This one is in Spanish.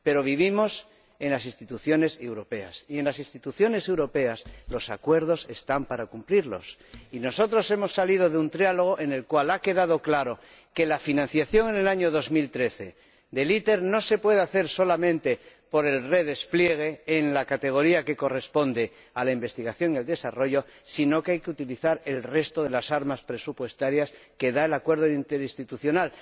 pero vivimos en las instituciones europeas y, en las instituciones europeas, los acuerdos están para cumplirlos, y nosotros hemos salido de un trílogo en el cual ha quedado claro que la financiación en el año 2013 de ITER no se puede hacer solamente por el redespliegue en la categoría que corresponde a la investigación y al desarrollo, sino que hay que utilizar el resto de las armas presupuestarias que da el Acuerdo Interinstitucional.